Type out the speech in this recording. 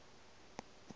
ga ka ga go na